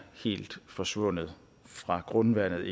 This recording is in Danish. helt forsvundet fra grundvandet